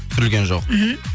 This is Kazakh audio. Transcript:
түсірілген жоқ мхм